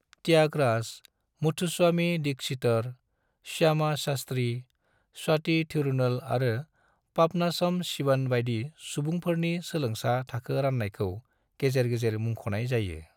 त्यागराज, मुथुस्वामी दीक्षितर, श्यामा शास्त्री, स्वाति थिरूनल आरो पापनासम सिवन बायदि सुबुंफोरनि सोलोंसा थाखो राननायखौ गेजेर गेजेर मुंख'नाय जायो।